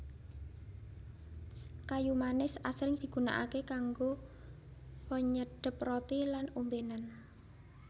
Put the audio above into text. Kayu manis asring digunakaké kanggo penyedhep roti lan ombénan